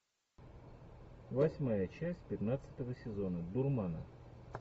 восьмая часть пятнадцатого сезона дурмана